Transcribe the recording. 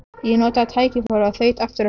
Ég notaði tækifærið og þaut aftur af stað.